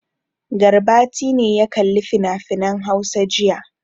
Garbati ne ya kalli finafinan Hausa jiya.